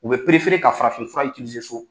U bɛ ka farafin fura so.